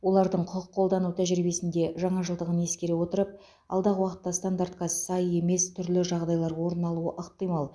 олардың құқық қолдану тәжірибесінде жаңашылдығын ескере отырып алдағы уақытта стандартқа сай емес түрлі жағдайлар орын алуы ықтимал